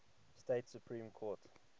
state supreme court